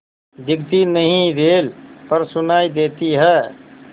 दिखती नहीं रेल पर सुनाई देती है